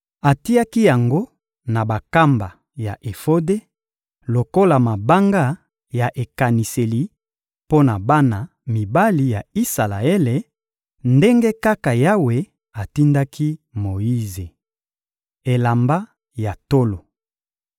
Atiaki yango na bankamba ya efode lokola mabanga ya ekaniseli mpo na bana mibali ya Isalaele, ndenge kaka Yawe atindaki Moyize. Elamba ya tolo